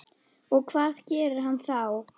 Og hvað gerir hann þá?